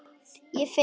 Ég finn það.